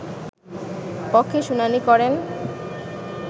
পক্ষে শুনানি করেন